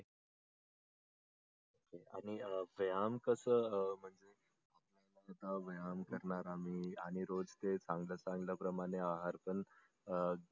आणि व्यायाम तर कस आहे रोज व्यायाम करणार आम्ही आणि रोज चे चांगल चांगल प्रमाणे आहार पण अं